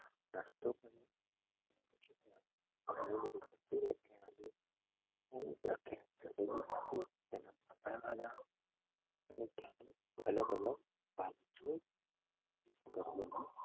અલગ અલગ